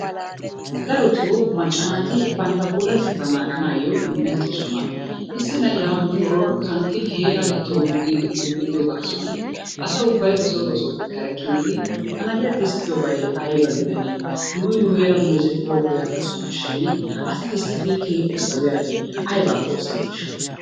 Darotoo macca naati bantta puulatetta naaganayyo un"ettoosona. Issi nayyiya nu shoorora kanttin heeray tonggu giidi ullido gaasuwaan asa ubbay ba soo ba sooppe kare kityidi ha na'iyaa tisttidobay aybba gidanne? Nuun nu heeran meezetibooko yaagosonashin asi tisttidi keehippe sawuyyaabi abbappe oosetishsha?